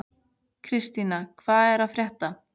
Kristína, hvað er að frétta?